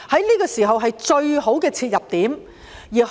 這個時候是最好的切入點。